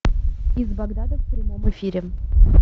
из багдада в прямом эфире